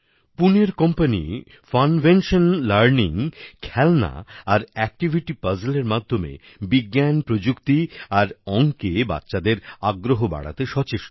Puneর company Funvention learning খেলনা আর activity puzzle এর মাধ্যমে বিজ্ঞান প্রযুক্তি আর অংকে বাচ্চাদের আগ্রহ বাড়াতে সচেষ্ট